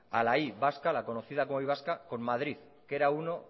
a la y vasca con madrid que era uno